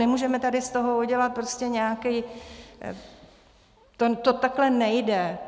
Nemůžeme tady z toho udělat prostě nějaký... to takhle nejde.